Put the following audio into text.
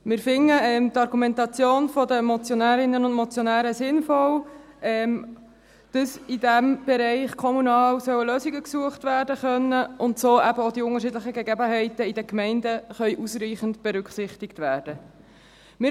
Wir finden die Argumentation der Motionärinnen und Motionäre sinnvoll, dass man im kommunalen Bereich Lösungen suchen kann, sodass auch die unterschiedlichen Gegebenheiten in den Gemeinden ausreichend berücksichtigt werden können.